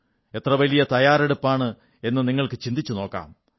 എത്രവലിയ തയ്യാറെടുപ്പെന്നു നിങ്ങൾക്കു ചിന്തിച്ചുനോക്കാം